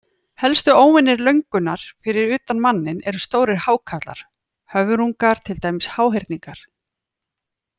Helstu óvinir löngunnar fyrir utan manninn eru stórir hákarlar, höfrungar, til dæmis háhyrningar.